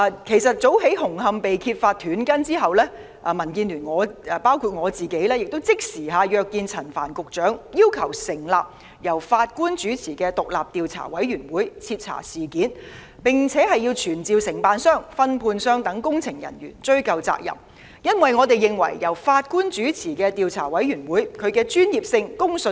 其實，早於紅磡站工程被揭發"短筋"後，民建聯的議員已即時約見陳帆局長，要求成立由法官主持的獨立調查委員會徹查事件，並要傳召承辦商、分判商等的工程人員追究責任，因為我們認為由法官主持的調查委員會具備較高專業性及公信力。